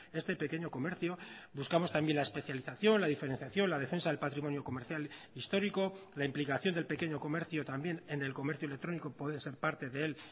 este pequeño comercio buscamos también la especialización la diferenciación la defensa del patrimonio comercial histórico la implicación del pequeño comercio también en el comercio electrónico puede ser parte de él